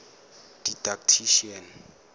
didactician